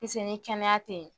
ni kɛnɛya te yen